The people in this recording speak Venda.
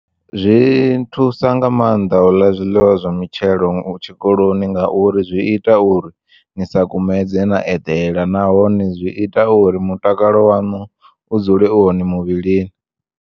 Zwi nthusa nga maanḓa uḽa zwiḽiwa zwa mitshelo tshikoloni ngauri zwi ita uri ni sa kumedze na eḓela nahone zwi ita uri mutakalo wanu u dzule u hone muvhilini.